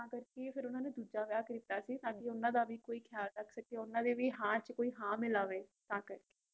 ਤਾਂ ਕਰਕੇ ਓਹਨਾ ਨੇ ਫੇਰ ਦੂਜਾ ਵਿਆਹ ਕੀਤਾ ਸੀ ਤਕੀ ਓਹਨਾ ਦਾ ਵੀ ਕੋਈ ਖਿਆਲ ਰੱਖ ਸਕੇ ਓਹਨਾ ਦਾ ਵੀ ਕੋਈ ਹਨ ਚ ਹਨ ਮਿਲਾਵੇ ਤਨ ਕਰਕੇ